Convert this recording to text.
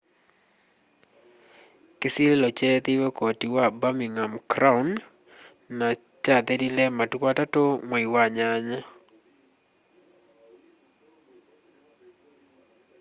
kĩsilĩlo kyeethĩĩwe koti wa birningham crown na kyathelile matũkũ 3 mwai wa nyanya